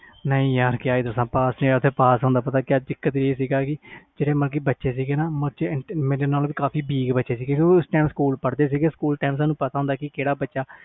ਨਹੀਂ ਯਾਰ ਪਾਸ ਨਹੀ ਹੋਇਆ ਸੀ ਓਥੇ ਪਾਸ ਹੋਣ ਦਾ ਚੱਕਰ ਜਿਹੜੇ ਮਤਬਲ ਬੱਚੇ ਸੀ ਨਾ ਉਹ ਮੇਰੇ ਨਾਲੋਂ ਵੀ weak ਬੱਚੇ ਸੀ ਓਥੇ ਪੜ੍ਹਦੇ ਸੀ ਸਕੂਲ time ਸਾਨੂ ਪਤਾ ਹੁੰਦਾ ਸੀ